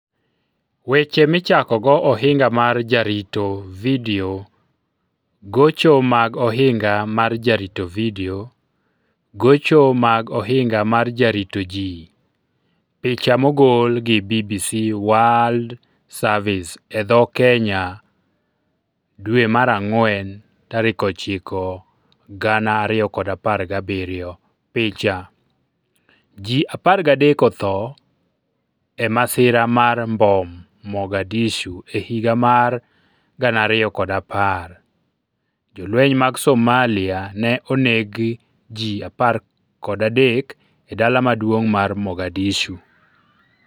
Weche Michakogo Ohinga mar Jarito Vidio Gocho mag Ohinga mar Jarito Vidio Gocho mag Ohinga mar Jarito Ji Picha mogol gi BBC WORLD SERVICE e dho Kenya April 9, 2017 Picha: Ji 13 otho e masira mar mbom Mogadishu E higa mar 2010, jolweny mag Somalia ne oneg ji 13 e dala maduong ' mar Mogadishu.